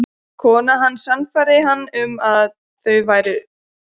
Konan hans sannfærði hann um að það væru slæm viðskipti.